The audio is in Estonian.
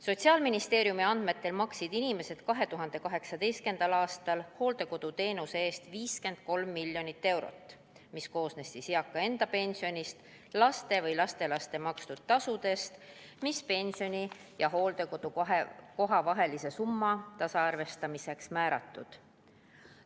Sotsiaalministeeriumi andmetel maksid inimesed 2018. aastal hooldekoduteenuse eest 53 miljonit eurot, mis koosnes eaka enda pensionist ning laste või lastelaste makstud tasudest, mis pensioni ja hooldekodukoha vahelise summa tasaarvestamiseks olid määratud.